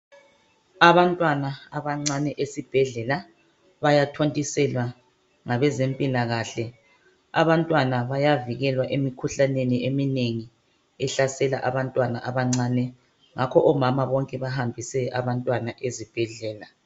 Abantwana abancane esibhedlela bayathontiselwa ngabezempilakahle. Abantwana bayavikelwa emikhuhlaneni eminengi ehasela abantwana abancane ngakho omama bonke bahambise abantwana ezibhedlela.